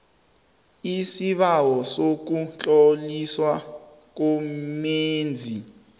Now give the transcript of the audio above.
lsibawo sokutloliswa komenzi